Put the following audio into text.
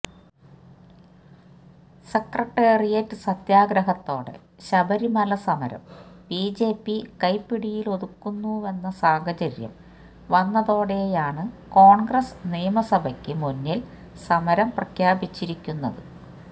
secretariat സത്യാഗ്രഹത്തോടെ ശബരിമല സമരം BJP കൈപ്പിടിയിലൊതുക്കുന്നുവെന്ന സാഹചര്യം വന്നതോടെയാണ് കോണ്ഗ്രസ് നിയമസഭയ്ക്ക് മുന്നില് സമരം പ്രഖ്യാപിച്ചിരിക്കുന്നത്